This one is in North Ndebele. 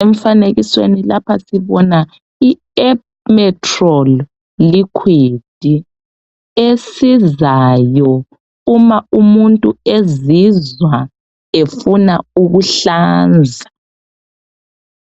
Umfanekisweni lapha sibona i Emetrol liquid esizayo uma umuntu ezizwa efuna ukuhlanza.